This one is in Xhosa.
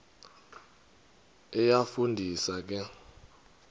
iyafu ndisa ke